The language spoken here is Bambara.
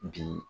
Bi